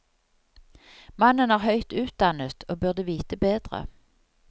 Mannen er høyt utdannet og burde vite bedre.